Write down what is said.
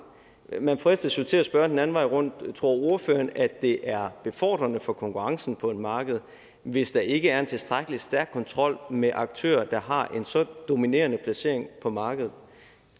man fristes jo til at spørge den anden vejen rundt tror ordføreren at det er befordrende for konkurrencen på et marked hvis der ikke er en tilstrækkelig stærk kontrol med aktører der har en så dominerende placering på markedet